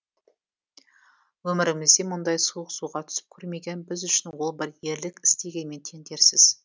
өмірімізде мұндай суық суға түсіп көрмеген біз үшін ол бір ерлік істегенмен тең дерсіз